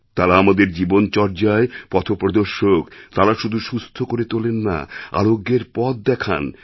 তাঁরা আমাদের জীবনচর্যায় পথপ্রদর্শক তাঁরা শুধু সুস্থ করেতোলেন না আরোগ্যের পথ দেখান